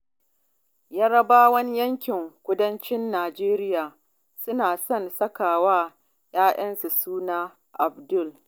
Yarabawan yankin Kudancin Najeriya suna son saka wa ƴaƴansu suna Abdul.